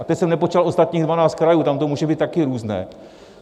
A to jsem nepočítal ostatních 12 krajů, tam to může být také různé.